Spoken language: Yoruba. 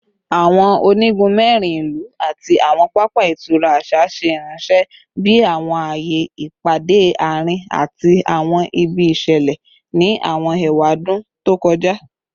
Awọn onigun mẹrin ilu ati awọn papa itura aṣa ṣe iranṣẹ bi awọn aaye ipade aarin ati awọn ibi iṣẹlẹ ni awọn ewadun to kọja